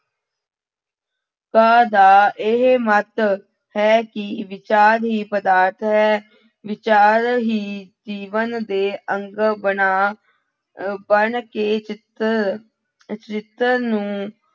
ਕਾਂ ਦਾ ਇਹ ਮੱਤ ਹੈ ਕਿ ਵਿਚਾਰ ਹੀ ਪਦਾਰਥ ਹੈ, ਵਿਚਾਰ ਹੀ ਜੀਵਨ ਦੇ ਅੰਗ ਬਣਾ ਅਹ ਬਣਕੇ ਚਿਤਰ ਚਰਿੱਤਰ ਨੂੰ